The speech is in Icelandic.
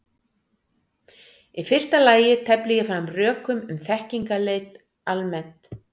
Í fyrsta lagi tefli ég fram rökum um þekkingarleit almennt.